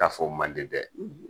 N'a f'o mandi dɛ